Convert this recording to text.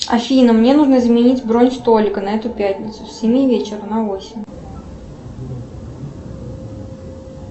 афина мне нужно заменить бронь столика на эту пятницу с семи вечера на восемь